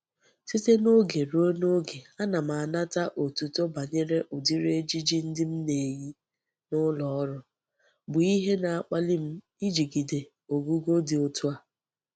Site n'oge rue n'oge ana m anata otuto banyere udiri ejiji ndi m na-eyi n'uloru, bu ihe na-akpali m ijigide ogugo di otu a.